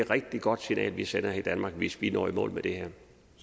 rigtig godt signal vi sender i danmark hvis vi når i mål med det her